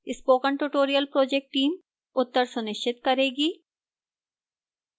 spoken tutorial project team उत्तर सुनिश्चित करेगी